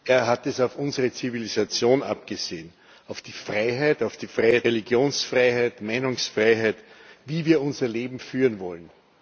Er hat es auf unsere Zivilisation abgesehen, auf die Freiheit, auf die Freiheit der Individuen, Religionsfreiheit, Meinungsfreiheit, wie wir unser Leben führen wollen.